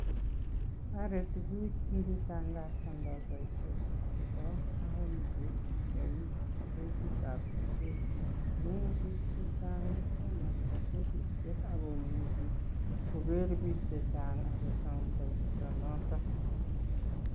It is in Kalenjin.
Toreti biik ingitangasanda boishoshek chebo county en pechitab kosetit amun biik chechang kosomoni kosetishek ago imuchi koger biik che chang agosom boishonoto.